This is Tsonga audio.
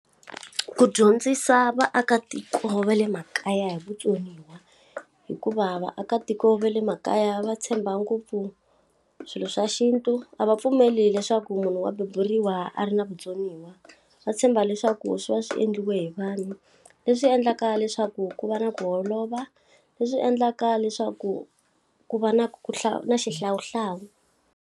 Ku dyondzisa vaakatiko va le makaya hi vutsoniwa. Hikuva vaakatiko va le makaya va tshemba ngopfu swilo swa xintu, a va pfumeli leswaku munhu wa beburiwa a ri na vutsoniwa. Va tshemba leswaku swi va swi endliwe hi vanhu, leswi endlaka leswaku ku va na ku holova leswi endlaka leswaku ku va na ku na xihlawuhlawu.